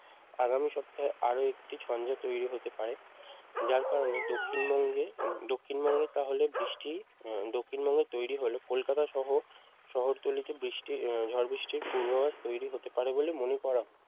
আগামী সপ্তাহে আরও একটি ঝঞ্ঝা তৈরি হতে পারে যার কারণে দক্ষিণবঙ্গে দক্ষিণবঙ্গে তাহলে বৃষ্টি দক্ষিণবঙ্গে তৈরি হল কলকাতা সহ শহরতলিতে বৃষ্টির ঝড় বৃষ্টির পূর্বাভাস তৈরি হতে পারে বলে মনে করা